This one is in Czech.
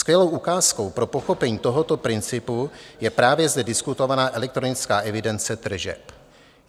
Skvělou ukázkou pro pochopení tohoto principu je právě zde diskutovaná elektronická evidence tržeb.